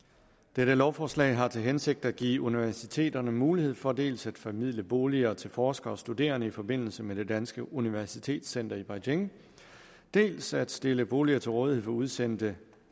dette lovforslag har til hensigt at give universiteterne mulighed for dels at formidle boliger til forskere og studerende i forbindelse med det danske universitetscenter i beijing dels at stille boliger til rådighed for udsendte